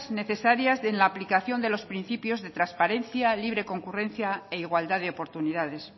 necesarias en la aplicación de los principios de transparencia libre concurrencia e igualdad de oportunidades